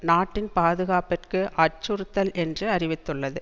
நாட்டின் பாதுகாப்பிற்கு அச்சுறுத்தல் என்று அறிவித்துள்ளது